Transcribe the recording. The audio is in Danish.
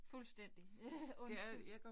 Fuldstændig. Undskyld